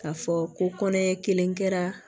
K'a fɔ ko kɔnɔɲɛ kelen kɛra